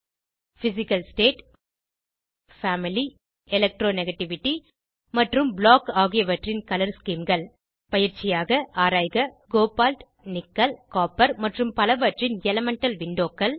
1பிசிக்கல் state family electronegativity மற்றும் block ஆகியவற்றின் colour Schemeகள் பயிற்சியாக ஆராய்க கோபால்ட் நிக்கல் காப்பர் மற்றும் பலவற்றின் எலிமெண்டல் விண்டோக்கள்